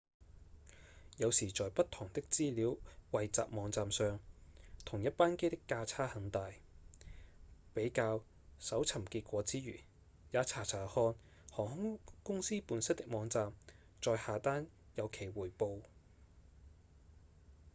有時在不同的資料彙集網站上同一班機的價差很大比較搜尋結果之餘也查查看航空公司本身的網站再下單有其回報